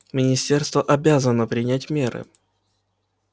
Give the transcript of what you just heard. министерство обязано принять меры